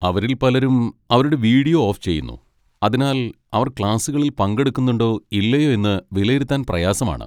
അവരിൽ പലരും അവരുടെ വീഡിയോ ഓഫ് ചെയ്യുന്നു, അതിനാൽ അവർ ക്ലാസുകളിൽ പങ്കെടുക്കുന്നുണ്ടോ ഇല്ലയോ എന്ന് വിലയിരുത്താൻ പ്രയാസമാണ്.